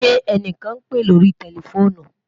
Ṣẹ ẹnikan n pe lórí tẹlifoonù?